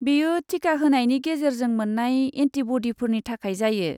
बेयो टिका होनायनि गेजेरजों मोन्नाय एन्टिब'डिफोरनि थाखाय जायो।